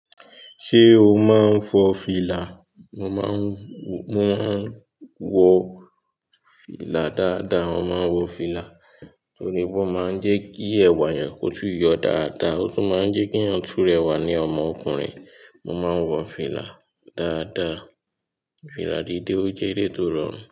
Ṣé o máa ń fọ fìlà? Mo máa ń, mo máa ń wọ fìlà dáadáa. Mo máa ń wọ fìlà torí pé ó máa ń jẹ́ kí ẹ̀wà yàn kótú yọ dáadáa, ó tún máa ń jẹ́ kí tún rẹ wà ní ọmọ ọkùnrin. Mo máa ń wọ fìlà dáadáa. Fìlà dídé ò jẹ́ elé tó rọrùn.